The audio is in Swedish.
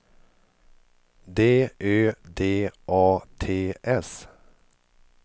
D Ö D A T S